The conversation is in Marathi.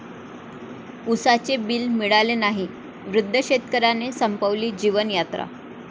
उसाचे बिल मिळाले नाही, वृद्ध शेतकऱ्याने संपवली जीवनयात्रा